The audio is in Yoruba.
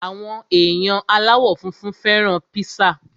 Àwọn èèyàn aláwọ̀ funfun fẹ́ràn píṣà